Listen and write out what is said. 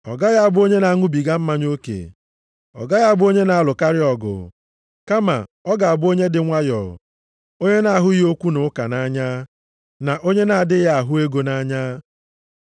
Ọ gaghị abụ onye na-aṅụbiga mmanya oke, ọ gaghị abụ onye na-alụkarị ọgụ, kama ọ ga-abụ onye dị nwayọọ, onye na-ahụghị okwu na ụka nʼanya, na onye na-adịghị ahụ ego nʼanya.